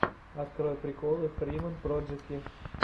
открой приколы фриман проджэки